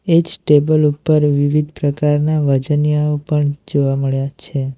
એ જ ટેબલ ઉપર વિવિધ પ્રકારના વજનીયાઓ પણ જોવા મળ્યા છે.